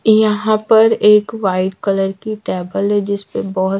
यहां पर एक वाइट कलर की टेबल है जिस पे बहुत--